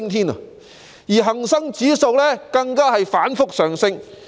此外，恆生指數亦反覆上升。